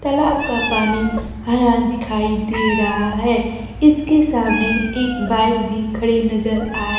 तलाब का पानी हरा दिखाई दे रहा है इसके सामने एक बाइक भी खड़ी नजर आ--